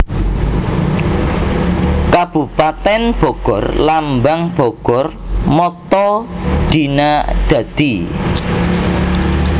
Kabupatèn BogorLambang BogorMotto Dina Dadi